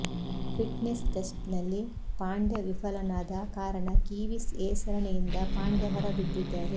fit ನೆಸ್ test ನಲ್ಲಿ ಪಾಂಡ್ಯ ವಿಫಲನಾದ ಕಾರಣ ಕಿವೀಸ್ ಎ ಸರಣಿಯಿಂದ ಪಾಂಡ್ಯ ಹೊರಬಿದ್ದಿದ್ದಾರೆ